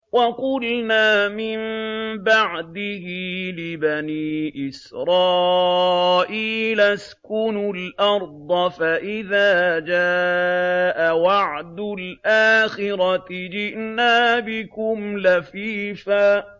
وَقُلْنَا مِن بَعْدِهِ لِبَنِي إِسْرَائِيلَ اسْكُنُوا الْأَرْضَ فَإِذَا جَاءَ وَعْدُ الْآخِرَةِ جِئْنَا بِكُمْ لَفِيفًا